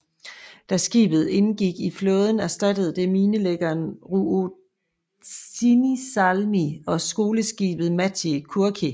Da skibet indgik i flåden erstattede det minelæggeren Ruotsinsalmi og skoleskibet Matti Kurki